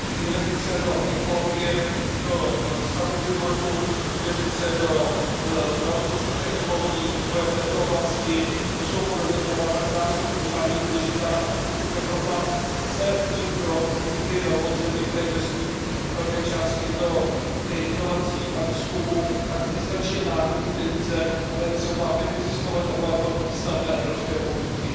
Investice do ekologie, do stavu klimatu, investice do zdravotnických technologií, vývoje v této oblasti, to jsou podle mě témata, která jsou mimořádně důležitá, a pokud Evropa chce držet krok s jinými velmocemi, které investují velké částky do inovací a výzkumu, tak nestačí jen národní peníze, ale je třeba, aby existovaly takovéto významné evropské pobídky.